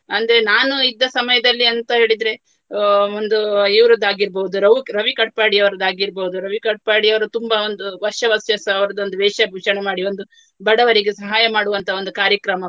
ಅಂದ್ರೆ ನಾನು ಇದ್ದ ಸಮಯದಲ್ಲಿ ಅಂತ ಹೇಳಿದ್ರೆ ಅಹ್ ಒಂದು ಇವರದ್ದು ಆಗಿರ್ಬಹುದು ರವುಕ್~ ರವಿ ಕಡ್ಪಾಡಿಯವರದ್ದಾಗಿರ್ಬಹುದು. ರವಿ ಕಡ್ಪಾಡಿ ಅವ್ರು ತುಂಬಾ ಒಂದು ವರ್ಷ ವರ್ಷಸ ಅವರದ್ದೊಂದು ವೇಷಭೂಷಣ ಮಾಡಿ ಒಂದು ಬಡವರಿಗೆ ಸಹಾಯ ಮಾಡುವಂತಹ ಒಂದು ಕಾರ್ಯಕ್ರಮ.